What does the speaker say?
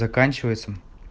заканчивается